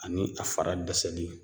Ani a fara dɛsɛli